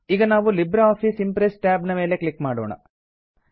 ಈಗ ನಾವು LibreOffice Impress tab ಮೇಲೆ ಕ್ಲಿಕ್ ಮಾಡೋಣ